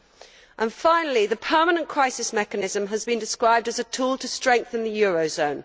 And finally the permanent crisis mechanism has been described as a tool to strengthen the eurozone.